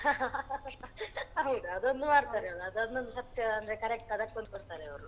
ಹೌದು ಅದೊಂದು ಮಾಡ್ತಾರೆ ಅವ್ರು ಅದೊಂದು ಸತ್ಯ ಅಂದ್ರೆ correct correct pose ಕೊಡ್ತಾರೆ ಅವ್ರು.